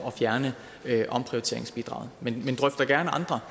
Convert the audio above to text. at fjerne omprioriteringsbidraget men vi drøfter gerne andre